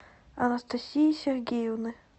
анастасии сергеевны